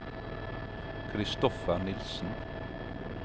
Christopher Nielsen